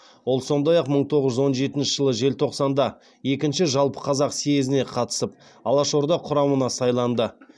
ол сондай ақ мың тоғыз жүз он жетінші жылы желтоқсанда екінші жалпықазақ съезіне қатысып алашорда құрамына сайланды